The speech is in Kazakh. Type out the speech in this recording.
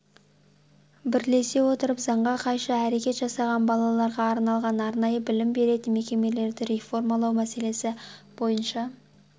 бірлесе отырып заңға қайшы әрекет жасаған балаларға арналған арнайы білім беретін мекемелерді реформалау мәселесі бойынша